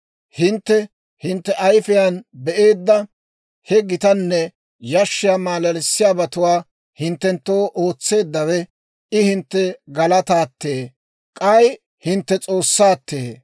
Hintte hintte ayifiyaan be'eedda he gitanne yashshiyaa maalalissiyaabatuwaa, hinttenttoo ootseeddawe I hintte galataattee; k'ay hintte S'oossaa.